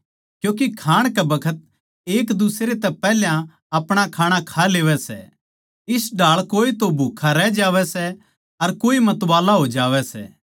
क्यूँके खाण कै बखत एक दुसरे तै पैहल्या अपणा खाणा खा लेवै सै इस ढाळ कोए तो भूक्खा रहवै सै अर कोए मतवाला हो जावै सै